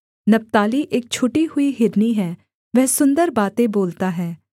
नप्ताली एक छूटी हुई हिरनी है वह सुन्दर बातें बोलता है